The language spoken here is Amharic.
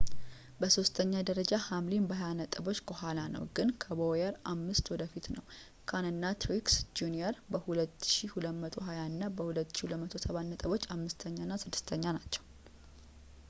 በሦስተኛ ደረጃ ሃምሊን በሃያ ነጥቦች ከኋላ ነው ግን ከቦውየር አምስት ወደፊት ነው ካን እና ትሪክስ ጁኒየር በ 2,220 እና 2,207 ነጥብ አምስተኛ እና ስድስተኛ ናቸው